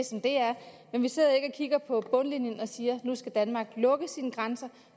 som det er men vi sidder ikke og kigger på bundlinjen og siger at nu skal danmark lukke sine grænser